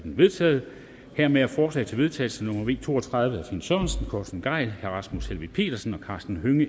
vedtaget hermed er forslag til vedtagelse nummer v to og tredive af finn sørensen torsten gejl rasmus helveg petersen og karsten hønge